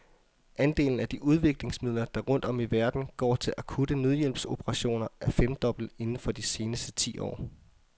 Andelen af de udviklingsmidler, der rundt om i verden går til akutte nødhjælpsoperationer, er femdoblet inden for de seneste ti år.